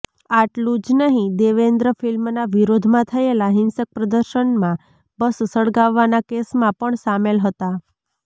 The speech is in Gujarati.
આટલું જ નહીં દેવેન્દ્ર ફિલ્મના વિરોધમાં થયેલા હિંસક પ્રદર્શનમાં બસ સળગાવવાના કેસમાં પણ સામેલ હતા